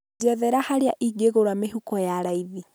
Jethera harĩa ingĩgũra mĩhuko ya raĩthi